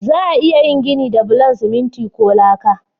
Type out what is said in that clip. Za'a iya yin gini da bulan siminti ko laka.